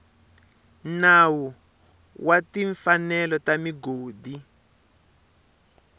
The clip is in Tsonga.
nawu wa timfanelo ta migodi